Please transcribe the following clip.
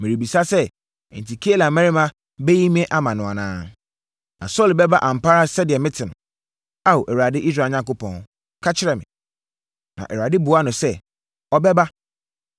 Merebisa sɛ, enti Keila mmarima bɛyi me ama no anaa? Na Saulo bɛba ampa ara sɛdeɛ mete no? Ao, Awurade, Israel Onyankopɔn, ka kyerɛ me.” Na Awurade buaa no sɛ, “Ɔbɛba.”